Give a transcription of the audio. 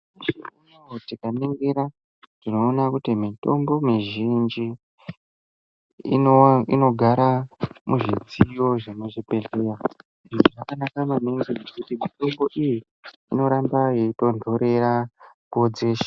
Nyamashi unowu tikaningira tinoona kuti mutombo muzhinji ino inogara muzvidziyo zvemuzvibhedhleya izvi zvakanaka maningi ngekuti mutombo iyi inoramba yeitontorera nguwa dzeshe.